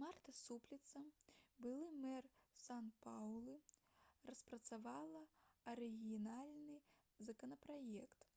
марта супліца былы мэр сан-паўлу распрацавала арыгінальны законапраект